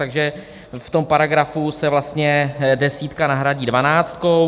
Takže v tom paragrafu se vlastně desítka nahradí dvanáctkou.